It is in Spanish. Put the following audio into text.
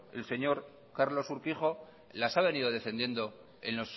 el señor carlos urquijo las ha venido defendiendo